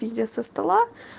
пиздит со стола